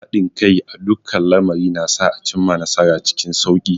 Haɗin kai a dukkan lamari na sa a cimma nasara cikin sauki.